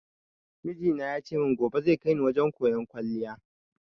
Mijina ya ce gobe zai kaini wajen koyan kwaliya